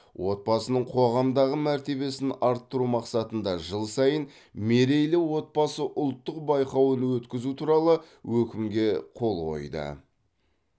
отбасының қоғамдағы мәртебесін арттыру мақсатында жыл сайын мерейлі отбасы ұлттық байқауын өткізу туралы өкімге қол қойды